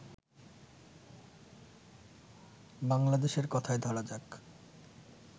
বাংলাদেশের কথাই ধরা যাক